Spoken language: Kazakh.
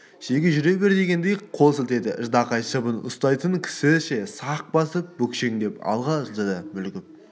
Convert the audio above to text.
шеге жүре бер дегендей қол сілтеді ждақай шыбын ұстайтын кісіше сақ басып бүкшеңдеп алға жылжыды мүлгіп